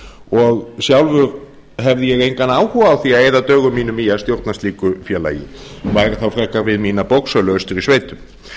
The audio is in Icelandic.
og sjálfur hef ég engan áhuga á því að eyða dögum mínum í að stjórna slíku félagi væri þá frekar við mína bóksölu austur í sveitum